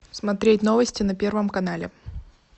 смотреть новости на первом канале